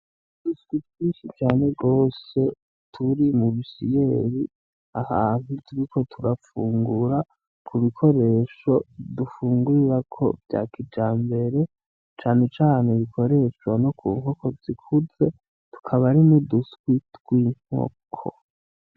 Uduswi twinshi cane gose turi mu bisyeyi ahantu turiko turafungura ku bikoresho dufungurirako vya kijambere cane cane bikoreshwa no ku nkoko zikuze tukaba ari uduswi tw'inkoko.